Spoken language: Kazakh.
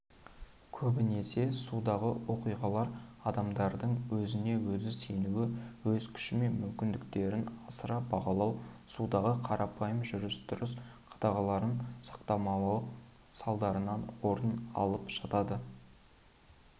көбінесе судағы оқиғалар адамдардың өзіне-өзі сенуі өз күші мен мүмкіндіктерін асыра бағалауы судағы қарапайым жүріс-тұрыс қағдаларын сақтамауы салдарынан орын алып жатады